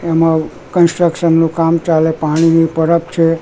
એમાં કન્સ્ટ્રક્શન નું કામ ચાલે પાણી ની પરબ છે.